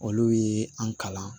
Olu ye an kalan